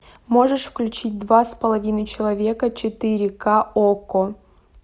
можешь включить два с половиной человека четыре ка окко